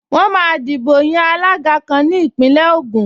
Wọ́n máa dìbò yan alága kan ní Ìpínlẹ̀ Ògùn